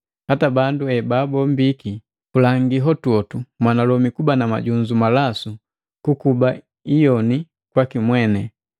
Hata bandu ebabombiki, kulangi hotuhotu mwanalomi kuba na majunzu malasu kukuba iyoni kwaki mweni,